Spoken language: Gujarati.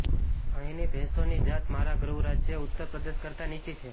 અહીંની ભેંસોની જાત મારા ગૃહરાજ્ય ઉત્તર પ્રદેશ કરતાં નીચી છે